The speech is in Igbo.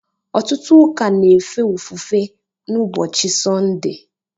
ọtụtụ ụka na-efe ofufe n’ụbọchị Sọnde